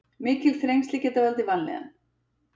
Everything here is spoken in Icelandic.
Mikil þrengsli geta valdið vanlíðan.